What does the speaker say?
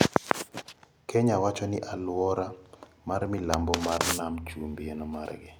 Kenya wacho ni aluora mar milambo mar nam chumbi en mare.